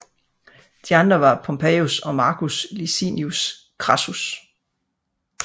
De andre var Pompejus og Marcus Licinius Crassus